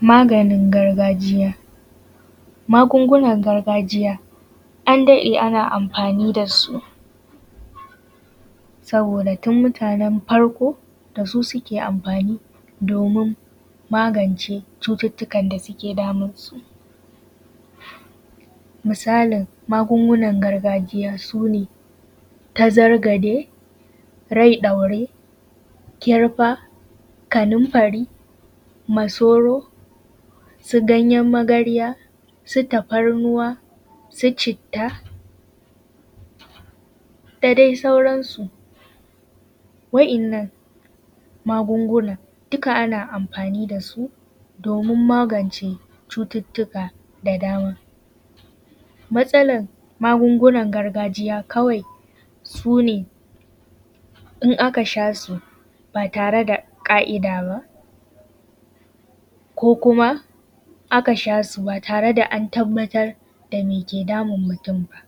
Maganin gargajiya. Magungunan gargajiya an daɗe ana amfani da su saboda tun mutanen farko da su suke amfani, domin magance cututtukan da suke damun su. Misalin magungunan gargajiya sune tazargaje, rai ɗaure, kirfa, kanunfari, masoro, su ganyen magarya, su tafarnuwa, su citta dadai sauran su. Wa'innan magungunan duka ana amfani da su domin magance cuttutuka da dama. Matsalar magungunan gargajiya kawai sune in aka sha su ba tare da ka'ida ba ko kuma aka sha su ba tare da an tabbatar da me ke damun mutum ba.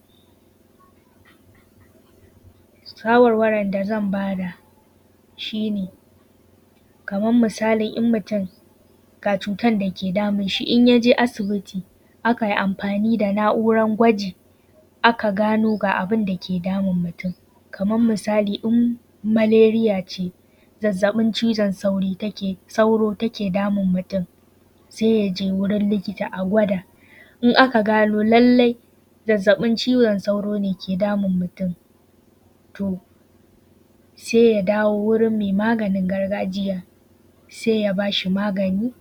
Shawarwarin da zan ba da shine, kamar misali in mutum ga cuttar da ke damun shi in yaje asibiti akai amfani da na’uran gwaji aka gano ga abinda ke damun mutum kaman misali in maleriya ce zazzabin cizon sauro take damun mutum sai yaje wajen likita a gwada in aka gano lallai zazzabin cizon sauro ke damun mutum, to sai ya dawo wajen mai maganin gargajiya sai ya ba shi maganin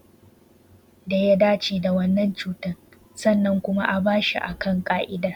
daya dace da cutan sannan a bashi a kan ka’ida